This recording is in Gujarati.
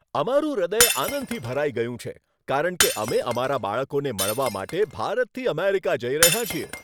અમારું હૃદય આનંદથી ભરાઈ ગયું છે કારણ કે અમે અમારા બાળકોને મળવા માટે ભારતથી અમેરિકા જઈ રહ્યાં છીએ.